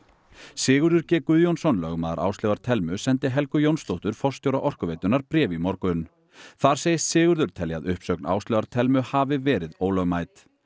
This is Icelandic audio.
Sigurður g Guðjónsson lögmaður Áslaugar Thelmu sendi Helgu Jónsdóttur forstjóra Orkuveitunnar bréf í morgun þar segist Sigurður telja að uppsögn Áslaugar Thelmu hafi verið ólögmæt